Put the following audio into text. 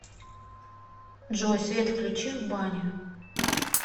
джой свет включи в бане